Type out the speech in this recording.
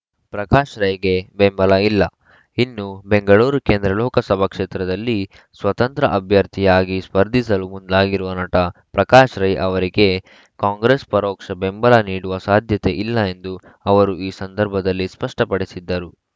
ಪ್ರಕಾಶ್‌ ರೈಗೆ ಬೆಂಬಲ ಇಲ್ಲ ಇನ್ನು ಬೆಂಗಳೂರು ಕೇಂದ್ರ ಲೋಕಸಭಾ ಕ್ಷೇತ್ರದಲ್ಲಿ ಸ್ವತಂತ್ರ ಅಭ್ಯರ್ಥಿಯಾಗಿ ಸ್ಪರ್ಧಿಸಲು ಮುಂದಾಗಿರುವ ನಟ ಪ್ರಕಾಶ್‌ ರೈ ಅವರಿಗೆ ಕಾಂಗ್ರೆಸ್‌ ಪರೋಕ್ಷ ಬೆಂಬಲ ನೀಡುವ ಸಾಧ್ಯತೆ ಇಲ್ಲ ಎಂದು ಅವರು ಈ ಸಂದರ್ಭದಲ್ಲಿ ಸ್ಪಷ್ಟಪಡಿಸಿದ್ದರು